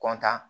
kɔntan